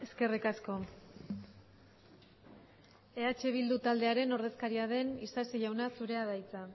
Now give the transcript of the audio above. eskerrik asko eh bildu taldearen ordezkaria den isasi jauna zurea da hitza